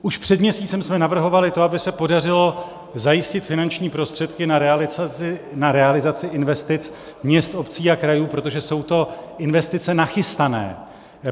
Už před měsícem jsme navrhovali to, aby se podařilo zajistit finanční prostředky na realizaci investic měst, obcí a krajů, protože jsou to investice nachystané.